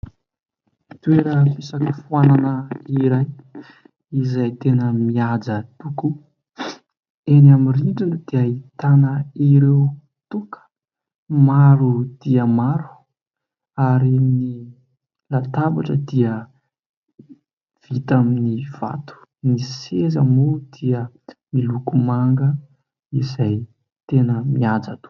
Toeram-pisakafoanana iray izay tena mihaja tokoa. Eny amin'ny rindrina dia ahitana ireo toaka maro dia maro ary ny latabatra dia vita amin'ny vato, ny seza moa dia miloko manga izay tena mihaja tokoa.